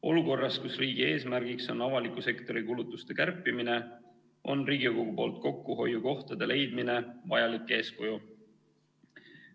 Olukorras, kus riigi eesmärgiks on avaliku sektori kulutuste kärpimine, on Riigikogu poolt kokkuhoiukohtade leidmine vajalik eeskuju.